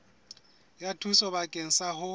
ya thuso bakeng sa ho